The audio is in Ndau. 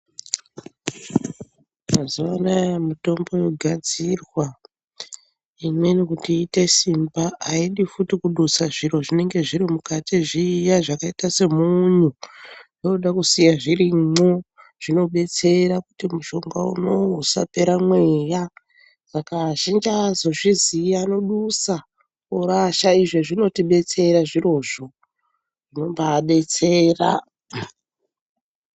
Mazuwa anaya mitombo yogadzirwa imweni kuti iite simba. Haidi futi kudusa zviro zvinenge zviri mukati zviya zvakaita semunyu. Zvinoda kusiya zvirimwo. Zvinobetsera kuti mushonga unowu usapera mweya. Saka azhinji haazozviziyi, anodusa orasha. Izvi zvinotidetsera zvirozvo. Zvinombadetsera!